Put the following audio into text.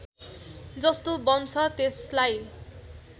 जस्तो बन्छ त्यसलाई